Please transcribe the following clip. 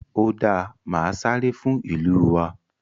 ó dáa màá sáré fún ìlú wa.